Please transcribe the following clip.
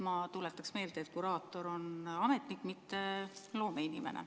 Ma tuletaksin meelde, et kuraator on ametnik, mitte loomeinimene.